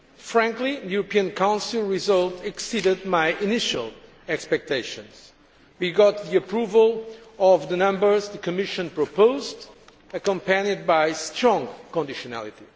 Frankly, the European Council result exceeded my initial expectations. We got the approval of the numbers the Commission proposed, accompanied by strong conditionality.